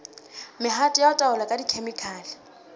mehato ya taolo ka dikhemikhale